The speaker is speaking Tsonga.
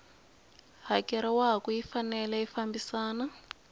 hakeriwaku yi fanele yi fambisana